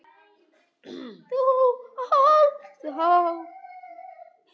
Þú ólst þá.